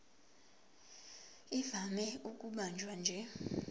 ivame ukubanjwa nje